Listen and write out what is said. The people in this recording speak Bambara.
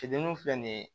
Fitiniini filɛ nin ye